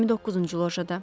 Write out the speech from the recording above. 29-cu lojada.